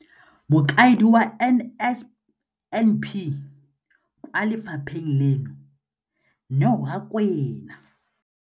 Mokaedi wa NSNP kwa lefapheng leno, Neo Rakwena.